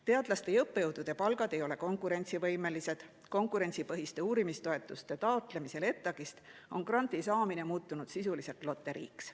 Teadlaste ja õppejõudude palgad ei ole konkurentsivõimelised, konkurentsipõhiste uurimistoetuste taotlemisel ETAg‑ist on grandi saamine muutunud sisuliselt loteriiks.